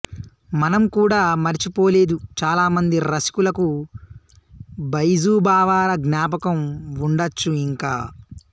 మనం కూడా మరిచిపోలేదు చాలామంది రసికులకు బైజుబావరా జ్ఞాపకం వుండొచ్చు ఇంకా